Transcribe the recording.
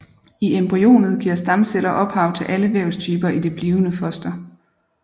I embryonet giver stamceller ophav til alle vævstyper i det blivende foster